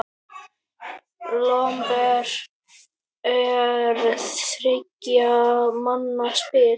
Lomber er þriggja manna spil.